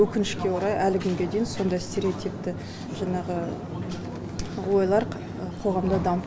өкінішке орай әлі күнге дейін сондай стереотипті жаңағы ойлар қоғамда дамып